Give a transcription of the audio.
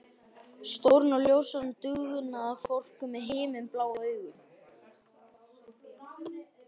Stóran og ljóshærðan dugnaðarfork með himinblá augu.